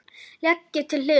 Leggið til hliðar.